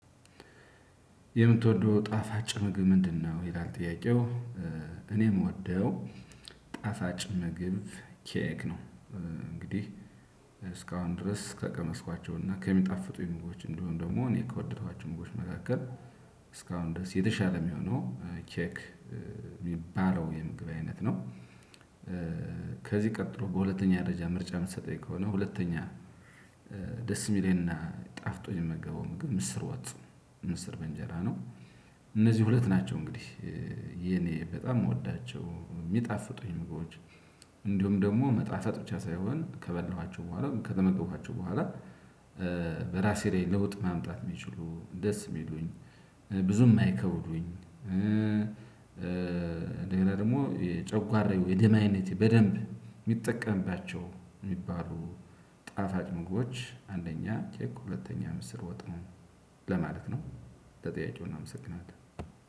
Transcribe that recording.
የምትወደው ጣፋጭ ምግብ ምንድነው ይላል ጥያቄው? እኔ ምወደው ጣፋጭ ምግብ ኬክ ነው። እንግዲህ እስካሁን ድረስ ከቀመስኳቸውና ከሚጣፍጡ ምግቦች እንድሁም ደግሞ እኔ ከወደድኳቸው ምግቦች መካከል እስካሁን ድረስ የተሻለ የሚሆነው ኬክ የሚባለው የምግብ አይነት ነው። ከዚህ ቀጥሎ በሁለተኛ ደረጃ ምርጫ የምትሰጠኝ ከሆነ ሁለተኛ ደስ የሚለኝና ጣፍጦኝ የምመገበው ምግብ ምስር ወጥ ምስር በእንጀራ ነው። እነዚህ ሁለት ናቸው እንግዲህ የኔ በጣም የምወዳቸው የሚጣፍጡኝ ምግቦዎች። እንዲሁም ደግሞ መጣፈጥ ብቻ ሳይሆን ከበላኋቸው በኋላ ከተመገብኳቸው በኋላ ራሴ ላይ ለውጥ ማምጣት የሚችሉ ደስ የሚሉኝ ብዙም እማይከብዱኝ። ሌላ ደግሞ ጨጓራ የደም አይነት በደንብ የሚጠቀምባቸው የሚባሉ ጣፋጭ ምግቦች አንደኛ ኬክ ሁለተኛ ምስር ወጥ ነው። ለማለት ነው። ለጥያቄው እናመሰግናለን።